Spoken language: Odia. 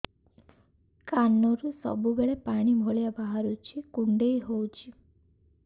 କାନରୁ ସବୁବେଳେ ପାଣି ଭଳିଆ ବାହାରୁଚି କୁଣ୍ଡେଇ ହଉଚି